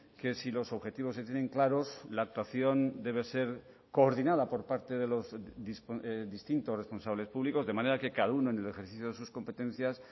que si los objetivos se tienen claros la actuación debe ser coordinada por parte de los distintos responsables públicos de manera que cada uno en el ejercicio de sus competencias